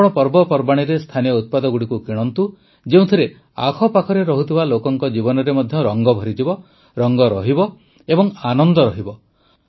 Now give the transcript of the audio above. ଆପଣ ପର୍ବପର୍ବାଣୀରେ ସ୍ଥାନୀୟ ଉତ୍ପାଦଗୁଡ଼ିକୁ କିଣନ୍ତୁ ଯେଉଁଥିରେ ଆଖପାଖରେ ରହୁଥିବା ଲୋକଙ୍କ ଜୀବନରେ ମଧ୍ୟ ରଂଗ ଭରିଯିବ ରଂଗ ରହିବ ଏବଂ ଆନନ୍ଦ ରହିବ